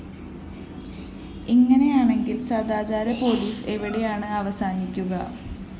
ഇങ്ങനെയാണെങ്കില്‍ സദാചാര പോലീസ് എവിടെയാണ് അവസാനിക്കുക